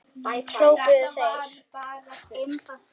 hrópuðu þeir.